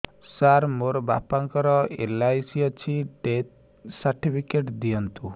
ସାର ମୋର ବାପା ଙ୍କର ଏଲ.ଆଇ.ସି ଅଛି ଡେଥ ସର୍ଟିଫିକେଟ ଦିଅନ୍ତୁ